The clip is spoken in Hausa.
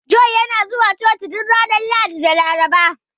Joel yana zuwa Coci duk ranar Lahadi da Laraba.